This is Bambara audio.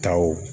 Taw